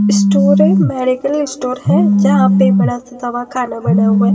Store है medical store है जहां पे बड़ा दवा खाना बना हुआ है।